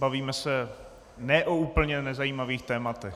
Bavíme se ne o úplně nezajímavých tématech.